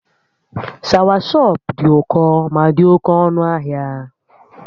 Shawashọp dị ụkọ ma dị oke ọnụ ahịa